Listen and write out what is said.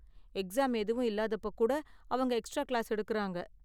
Exam எதுவும் இல்லாதப்போ கூட அவங்க எக்ஸ்ட்ரா கிளாஸ் எடுக்கறாங்க.